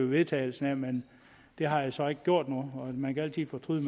vedtagelse her men det har jeg så ikke gjort man kan altid fortryde